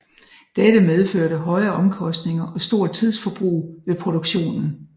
Dette medførte høje omkostninger og stort tidsforbrug ved produktionen